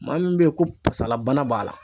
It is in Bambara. Maa min bɛ ye ko pasalabana b'a la.